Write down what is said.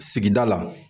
Sigida la